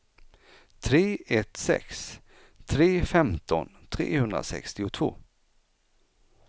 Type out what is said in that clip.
tre ett sex tre femton trehundrasextiotvå